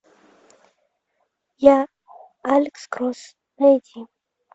я алекс кросс найди